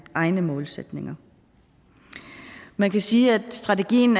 egne målsætninger man kan sige at strategien